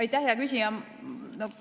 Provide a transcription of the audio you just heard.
Aitäh, hea küsija!